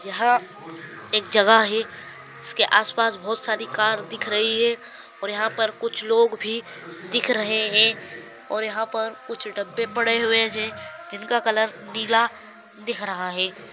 यहाँ एक जगह हैं उसके आस पास बहुत सारे कार दिख रही है और यहाँ पर कुछ लोग भी दिख रहे है और यहाँ पर कुछ डब्बे पड़े हुए है जिनका कलर नीला दिख रहा हैं।